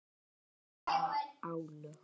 Jafnvel álög.